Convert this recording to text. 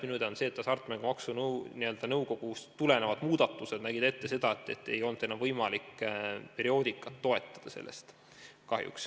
Minu teada hasartmängumaksu kasutuse muudatused nägid ette seda, et ei olnud enam võimalik selle rahaga perioodikat toetada.